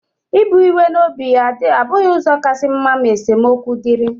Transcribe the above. Ibu iwe n'obi abụghị ụzọ kasị mma ma esemokwu dịrị.